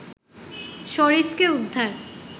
শরীফকে উদ্ধার